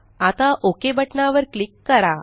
आता ओक बटना वर क्लिक करा